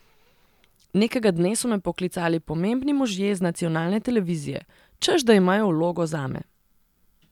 Nekega dne so me poklicali pomembni možje z nacionalne televizije, češ da imajo vlogo zame.